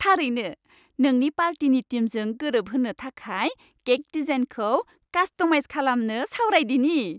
थारैनो! नोंनि पार्टिनि थिमजों गोरोबहोनो थाखाय केक डिजाइनखौ कास्टमाइज खालामनो सावरायदिनि।